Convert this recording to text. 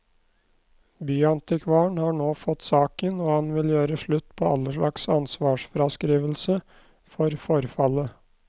Byantikvaren har nå fått saken, og han vil gjøre slutt på all slags ansvarsfraskrivelse for forfallet.